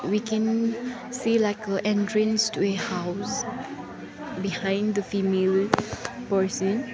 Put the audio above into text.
we can see like entrance to a house behind the female person.